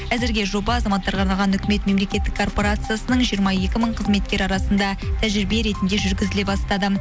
әзірге жоба азаматтарға арналған үкімет мемлекеттік корпорациясының жиырма екі мың қызметкері арасында тәжірибе ретінде жүргізіле бастады